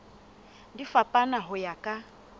di fapana ho ya ka